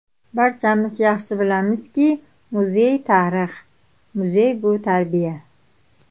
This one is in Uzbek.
Barchamiz yaxshi bilamizki, muzey - tarix, muzey bu - tarbiya.